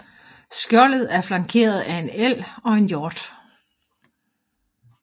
Skjoldet er flankeret af en elg og en hjort